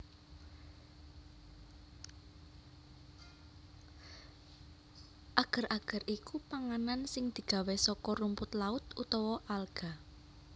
Ager ager iku panganan sing digawé saka rumput laut utawa alga